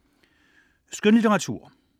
Skønlitteratur